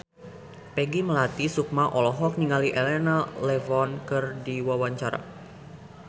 Peggy Melati Sukma olohok ningali Elena Levon keur diwawancara